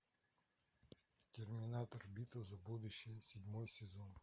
терминатор битва за будущее седьмой сезон